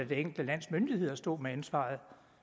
det enkelte lands myndigheder står med ansvaret